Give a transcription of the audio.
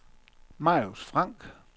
Marius Frank